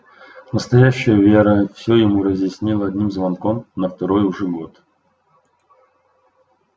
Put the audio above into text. настоящая вера всё ему разъяснила одним звонком на второй уже год